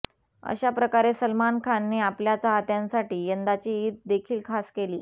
अशा प्रकारे सलमान खानने आपल्या चाहत्यांसाठी यंदाची ईद देखील खास केली